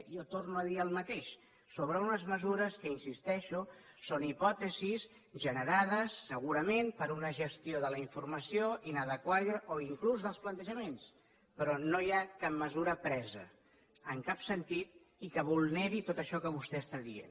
jo torno a dir el mateix sobre unes mesures que hi insisteixo són hipòtesis generades segurament per una gestió de la informació inadequada o inclús dels plantejaments però no hi ha cap mesura presa en cap sentit i que vulneri tot això que vostè està dient